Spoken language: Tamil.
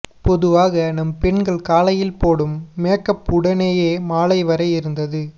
பொதுவாக நம் பெண்கள் காலையில் போடும் மேக்அப் உடனேயே மாலை வரை இருந்து